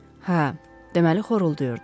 Hə, deməli xoruldayırdı.